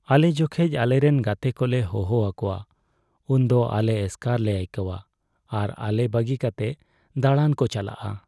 ᱟᱞᱮ ᱡᱚᱠᱷᱚᱡ ᱟᱞᱮᱨᱮᱱ ᱜᱟᱛᱮ ᱠᱚᱞᱮ ᱦᱚᱦᱚ ᱟᱠᱚᱣᱟ, ᱩᱱᱫᱚ ᱟᱞᱮ ᱮᱥᱠᱟᱨ ᱞᱮ ᱟᱹᱭᱠᱟᱹᱣᱟᱹ ᱟᱨ ᱟᱞᱮ ᱵᱟᱹᱜᱤ ᱠᱟᱛᱮ ᱫᱟᱬᱟᱱ ᱠᱚ ᱪᱟᱞᱟᱜᱼᱟ ᱾